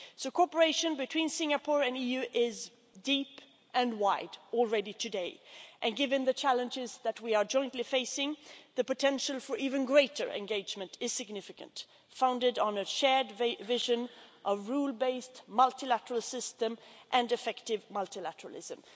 Cooperation between Singapore and the EU is already deep and wide today and, given the challenges that we are jointly facing, the potential for even greater engagement is significant founded on a shared vision, a rule based multilateral system and effective multilateralism.